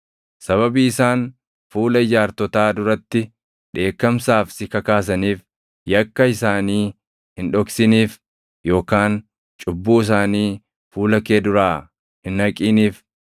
Sababii isaan fuula ijaartotaa duratti dheekkamsaaf si kakaasaniif yakka isaanii hin dhoksiniif yookaan cubbuu isaanii fuula kee duraa hin haqiniif.